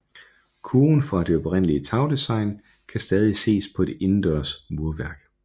Kurven fra det oprindelige tagdesign kan stadig ses på det indendørs murværk